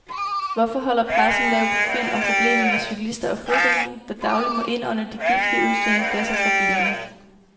Hvorfor holder pressen lav profil om problemet med cyklister og fodgængere, der dagligt må indånde de giftige udstødningsgasser fra bilerne.